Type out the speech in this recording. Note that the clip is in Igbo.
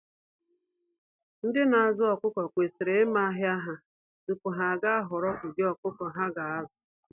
Ndị na azụ ọkụkọ kwesịrị ịma ahịa ha tupu ha ga ahọorọ ụdị ọkụkọ ha ga azụ.